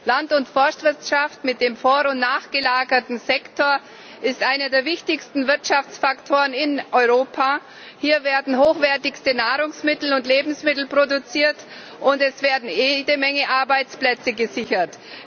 Land und Forstwirtschaft mit dem vor und nachgelagerten Sektor ist einer der wichtigsten Wirtschaftsfaktoren in Europa. Hier werden hochwertigste Nahrungsmittel und Lebensmittel produziert, und es werden jede Menge Arbeitsplätze gesichert.